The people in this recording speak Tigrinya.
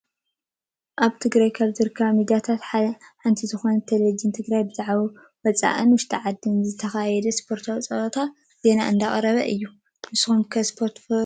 ኣብ ትግራይ ካብ ዝርከባ ሚዳታት ሓንቲ ዝኮነት ቴሌቪዥን ትግራይ ብዛዕባ ወፃኢን ውሽጢ ዓድን ዝተካየደ ስፖርታዊ ፀወታ ዜና እንዳቅረበ እዩ። ንስኩም ከ ስፖርት ትፈትው ዶ ?